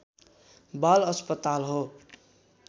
बाल अस्पताल हो